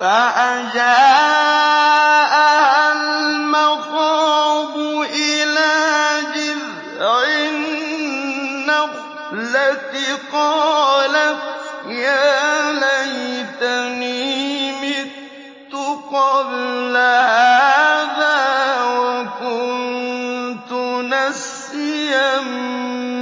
فَأَجَاءَهَا الْمَخَاضُ إِلَىٰ جِذْعِ النَّخْلَةِ قَالَتْ يَا لَيْتَنِي مِتُّ قَبْلَ هَٰذَا وَكُنتُ نَسْيًا